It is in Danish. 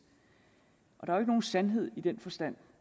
og der er jo ikke nogen sandhed i den forstand